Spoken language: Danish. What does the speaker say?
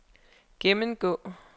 gennemgå